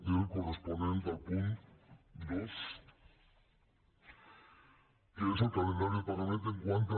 era el corresponent al punt dos que és el calendari de pagament quant a